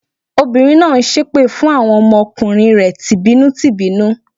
Obìnrin náà ń ṣépè fún àwọn ọmọ kùnrin rẹ̀ tì bínú tì bínú.